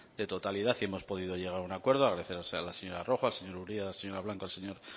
de totalidad y hemos podido llegar a un acuerdo agradecer a la señora rojo al señor uria a la señora blanco y al señor